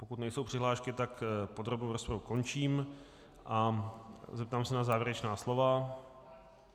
Pokud nejsou přihlášky, tak podrobnou rozpravu končím a zeptám se na závěrečná slova.